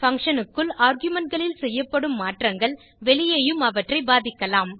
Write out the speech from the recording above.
function க்குள் argumentகளில் செய்யப்படும் மாற்றங்கள் வெளியேயும் அவற்றை பாதிக்கலாம்